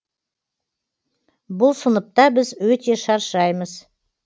бұл сыныпта біз өте шаршаймыз